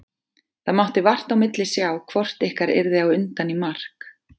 Það mátti vart á milli sjá hvort ykkar yrði á undan í mark.